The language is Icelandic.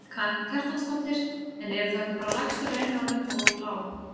Karen Kjartansdóttir: En eru þá ekki bara lægstu launin orðin of lág?